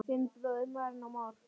Þinn bróðir, Marinó Már.